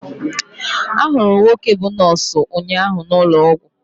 Ahụrụ m nwoke bú nọọsụ ụnyaahụ n'ụlọ ọgwụ.